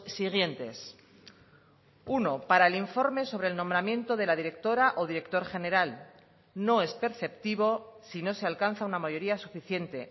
siguientes uno para el informe sobre el nombramiento de la directora o director general no es perceptivo si no se alcanza una mayoría suficiente